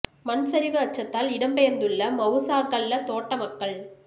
மண்சரிவு அச்சத்தால் இடம்பெயர்ந்துள்ள மவுசாகல்ல தோட்ட மக்கள்